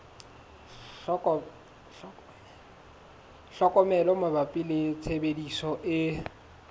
tlhokomelo mabapi le tshebediso e